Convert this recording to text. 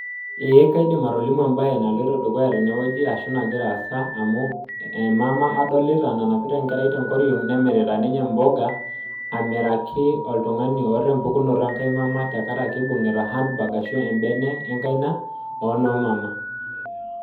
Eeh kaidim atolimu embaye naloito dukuya tenewoji arashu nakira aasa amu emama adolita nanapita enkerai tenkoriong nemirita ninye mboga amiraki oltungani oata empukunoto enkae mama tenkaraki ibungita handbag arashu embene enkaina onoomama.